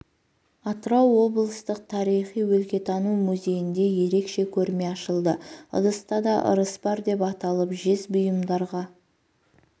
атырау облыстық тарихи өлкетану музейінде ерекше көрме ашылды ыдыста да ырыс бар деп аталып жез бұйымдарға